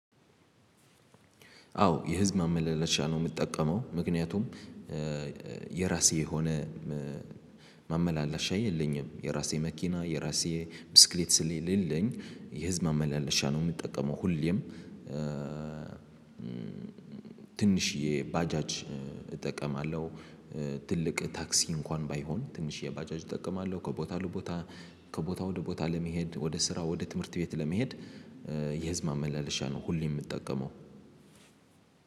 አዎ የህዝብ ማመላለሻ ነው የምጠቀመው ምክንያቱም የራሴ የሆነ ማመላለሻ የለኝም የራሴ መኪና የራሴ ብስክሌት ስለሌለኝ የህዝብ ማመላለሻ ነው የምጠቀመው። ሁሌም ትንሽዬ ባጃጅ እጠቀማለሁ። ትልቅ ታክሲ እንኳን ባይሆን ትንሽዬ ባጃጅ እጠቀማለሁ ከቦታ ለቦታ ከቦታ ወደ ቦታ ለመሄድ ወደ ስራ ወደ ትምህርት ቤት ለመሄድ። የህዝብ ማመላለሻ ነው ሁሌም የምጠቀመው።